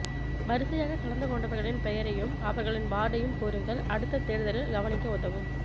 வரிசையாக கலந்து கொண்டவர்களின் பெயரையும் அவர்களின் வார்டையும் கூருங்கள் அடுத்த தேர்தலில் கவனிக்க உதவும்